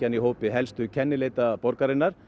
í hópi helstu kennileita borgarinnar